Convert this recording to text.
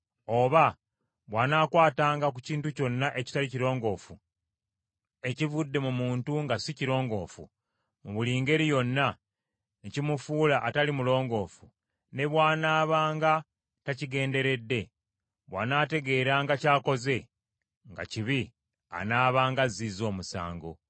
Oba bw’anaakwatanga ku kintu kyonna ekitali kirongoofu ekivudde mu muntu nga si kirongoofu mu buli ngeri yonna, ne kimufuula atali mulongoofu, ne bw’anaabanga takigenderedde, bw’anaategeranga ky’akoze nga kibi, anaabanga azzizza omusango.